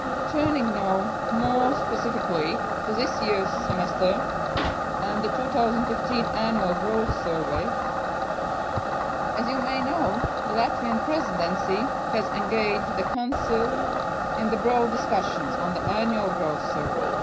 Turning now more specifically to this year's Semester and the 2015 Annual Growth Survey as you may know, the Latvian Presidency has engaged the Council in broad discussions on the Annual Growth Survey.